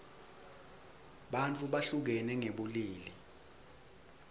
bantfu behlukene ngebulili